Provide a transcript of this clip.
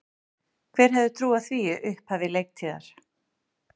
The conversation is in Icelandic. Hver hefði trúað því í upphafi leiktíðar?